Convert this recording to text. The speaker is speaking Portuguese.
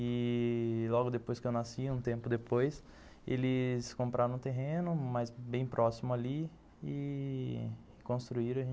Ih... logo depois que eu nasci, um tempo depois, eles compraram um terreno bem próximo ali e construíram.